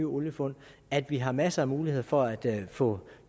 oliefund at vi har masser af muligheder for at få